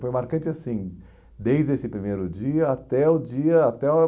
Foi marcante assim desde esse primeiro dia até o dia até